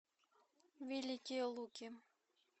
великие луки